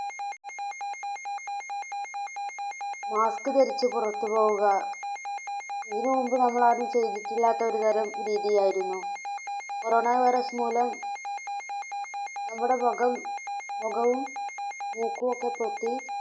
Mask ധരിച്ചു പുറത്തു പോവുക ഇതിനു മുൻപ് നമ്മൾ ആരും ചെയ്തിട്ടില്ലാത്ത ഒരു തരം രീതി ആയിരുന്നു. corona virus മൂലം നമ്മുടെ മുഖം, മുഖവും മൂക്കും ഒക്കെ കെട്ടി